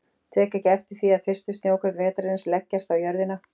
Tek ekki eftir því að fyrstu snjókorn vetrarins leggjast á jörðina.